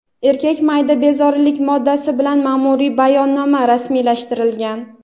Erkakka mayda bezorilik moddasi bilan ma’muriy bayonnoma rasmiylashtirilgan.